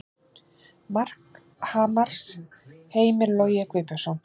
Mark Hamars: Heimir Logi Guðbjörnsson